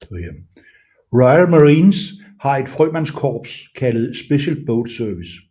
Royal Marines har et frømandskorps kaldet Special Boat Service